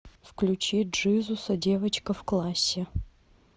включи джизуса девочка в классе